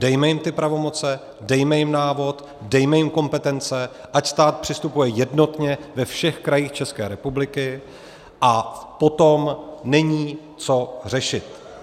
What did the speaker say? Dejme jim ty pravomoce, dejme jim návod, dejme jim kompetence, ať stát přistupuje jednotně ve všech krajích České republiky, a potom není co řešit.